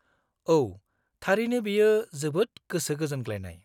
औ, थारैनो बेयो जोबोद गोसो गोजोनग्लायनाय।